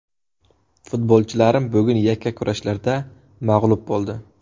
Futbolchilarim bugun yakka kurashlarda mag‘lub bo‘ldi.